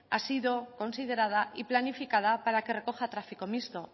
ha sido considerada y planificada para que recoja tráfico mixto